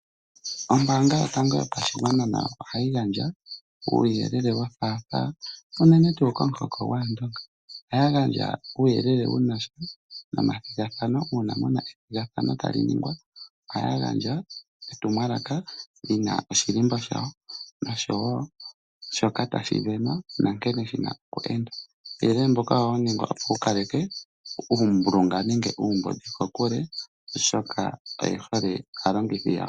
Ombaanga yotango yopashigwana nayo ohayi gandja uuyelele wothaathaa, unene tuu komuhoko gwAandonga. Ohaya gandja uuyelele wunasha nomathigathano, uuna puna ethigathano tali ningwa , ohaya gandja etumwalaka lina oshilimbo shawo noshowo shoka tashi sindanwa, nankene shina okuningwa. Uuyelele mbuka ohawu ningwa opo kukalekwe uulingilingi nenge uumbudhi kokule, oshoka oyehole aalongithi yawo.